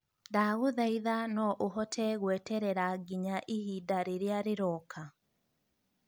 ndagũthaitha no ũhote gweterera nginya ihinda rĩrĩa rĩroka.